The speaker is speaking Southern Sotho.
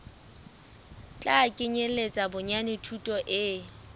tla kenyeletsa bonyane thuto e